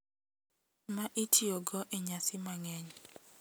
Ma itiyogo e nyasi mang`eny,